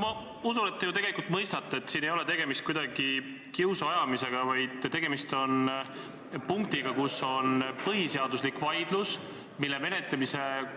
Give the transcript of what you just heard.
Ma usun, et te tegelikult mõistate, et siin ei ole tegemist kiusuajamisega, vaid tegemist on punktiga, mille puhul käib põhiseaduslik vaidlus ja mille menetlemisel